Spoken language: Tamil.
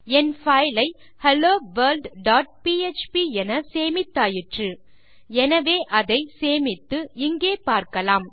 என் பைல் ஐ helloworldபிஎச்பி என் சேமித்தாயிற்று எனவே அதை சேமித்து இங்கே பார்க்கலாம்